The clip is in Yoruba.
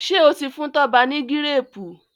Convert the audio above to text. ṣe o tí fún Toba ni Gírèèpù?